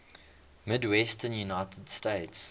midwestern united states